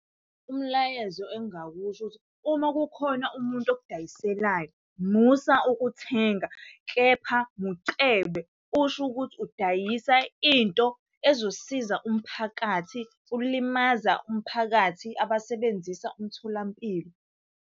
Umlayezo engingakusho ukuthi uma kukhona umuntu okudayiselayo, musa ukuthenga, kepha mucebe. Usho ukuthi udayisa into ezosiza umphakathi, ulimaza umphakathi abasebenzisa umtholampilo.